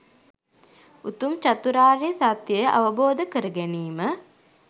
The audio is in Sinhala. උතුම් චතුරාර්ය සත්‍යය අවබෝධ කරගැනීම